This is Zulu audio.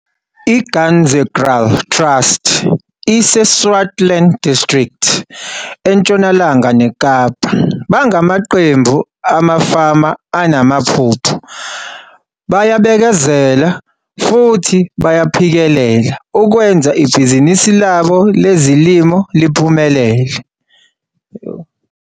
I-Ganzekraal Trust, iseSwartland District eNtshonalanga neKapa, bangamaqembu amafama anamaphupho, bayabekezela futhi bayaphikelela, ukwenza ibhizinisi labo lezolimo liphumelele.